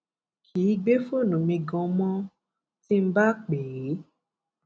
kì í gbé fóònù mi ganan mo ti ń bá pè é